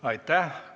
Aitäh!